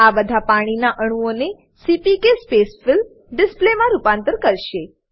આ બધા પાણીના અણુઓને સીપીકે સ્પેસફિલ ડિસ્પ્લે માં રૂપાંતર કરશે